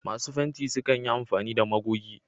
Masu fenti sukan yi amfani da magogi.